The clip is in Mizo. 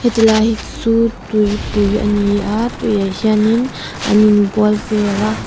chulai chu tuipui ani a tuiah hianin an inbual vel a.